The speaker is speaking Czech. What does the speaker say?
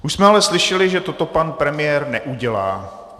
Už jsme ale slyšeli, že toto pan premiér neudělá.